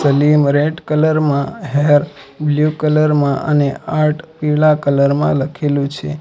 લીમ red colour માં hair blue colour માં અને આર્ટ પીળા કલર માં લખેલું છે.